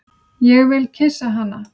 Ég vil kyssa hana.